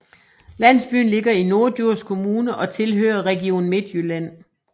Landsbyen ligger i Norddjurs Kommune og tilhører Region Midtjylland